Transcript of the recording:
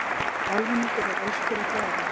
Almenningur er elskur að Daða.